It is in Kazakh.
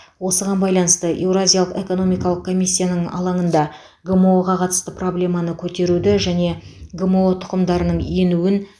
осыған байланысты еуразиялық экономикалық комиссияның алаңында гмо ға қатысты проблеманы көтеруді және гмо тұқымдарының енуін